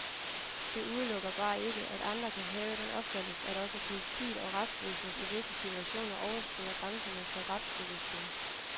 Det udelukker bare ikke, at andre kan have den opfattelse, at også politiet og retsvæsenet i visse situationer overskrider grænserne for retsbevidstheden.